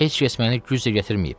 Heç kəs məni güclə gətirməyib.